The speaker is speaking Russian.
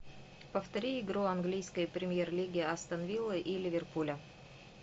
повтори игру английской премьер лиги астон вилла и ливерпуля